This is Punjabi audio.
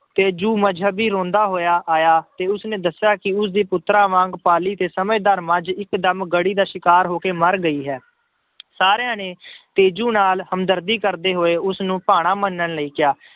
ਤੇਜੂ ਮਜ਼ਹਬੀ ਰੋਂਦਾ ਹੋਇਆ ਆਇਆ ਤੇ ਉਸਨੇ ਦੱਸਿਆ ਕਿ ਉਸਦੀ ਪੁੱਤਰਾਂ ਵਾਂਗ ਪਾਲੀ ਤੇ ਸਮਝਦਾਰ ਮੱਝ ਇੱਕਦਮ ਗੜ੍ਹੀ ਦਾ ਸ਼ਿਕਾਰ ਹੋ ਕੇ ਮਰ ਗਈ ਹੈ ਸਾਰਿਆਂ ਨੇ ਤੇਜੂ ਨਾਲ ਹਮਦਰਦੀ ਕਰਦੇ ਹੋਏ ਉਸਨੂੰ ਭਾਣਾ ਮੰਨਣ ਲਈ ਕਿਹਾ।